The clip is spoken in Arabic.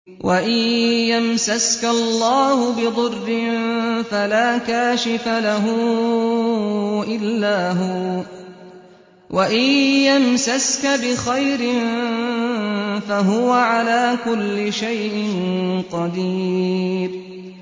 وَإِن يَمْسَسْكَ اللَّهُ بِضُرٍّ فَلَا كَاشِفَ لَهُ إِلَّا هُوَ ۖ وَإِن يَمْسَسْكَ بِخَيْرٍ فَهُوَ عَلَىٰ كُلِّ شَيْءٍ قَدِيرٌ